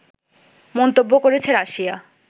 মন্তব্য করেছে রাশিয়া